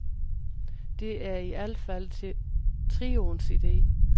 Det er i al fald trioens ide.